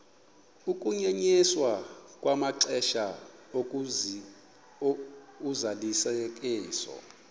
ukunyenyiswa kwamaxesha ozalisekiso